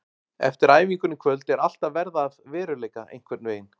Eftir æfinguna í kvöld er allt að verða að veruleika einhvern veginn.